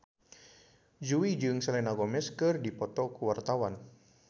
Jui jeung Selena Gomez keur dipoto ku wartawan